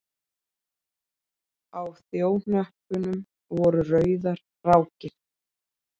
Á þjóhnöppunum voru rauðar rákir.